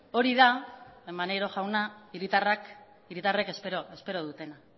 hori da maneiro jauna hiritarrek espero dutena